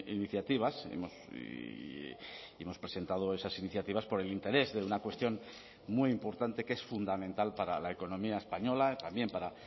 iniciativas y hemos presentado esas iniciativas por el interés de una cuestión muy importante que es fundamental para la economía española también para